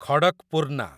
Khadakpurna